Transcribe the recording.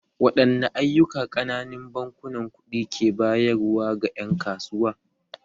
Waɗanne ayyuka ƙananun bankunan kuɗi ke bayarwa ga ƴan kasuwa?